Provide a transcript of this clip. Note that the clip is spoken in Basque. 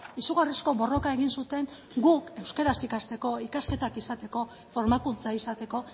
izugarrizko borroka egin zuten guk euskaraz ikasteko ikasketak izateko formakuntza izateko